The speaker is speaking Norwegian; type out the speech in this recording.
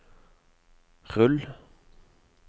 rull